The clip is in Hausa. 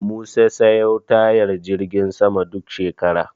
Musa sayo tayar jirgin saman duk shekara.